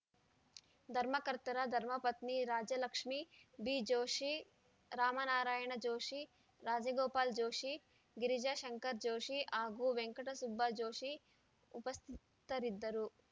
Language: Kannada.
ಧರ್ಮಕರ್ತರ ಧರ್ಮಪತ್ನಿ ರಾಜಲಕ್ಷ್ಮೀ ಬಿ ಜೋಷಿ ರಾಮನಾರಾಯಣ ಜೋಷಿ ರಾಜಗೋಪಾಲ್‌ ಜೋಷಿ ಗಿರಿಜಾ ಶಂಕರ್‌ ಜೋಷಿ ಹಾಗೂ ವೆಂಕಟಸುಬ್ಬಾ ಜೋಷಿ ಉಪಸ್ಥಿತರಿದ್ದರು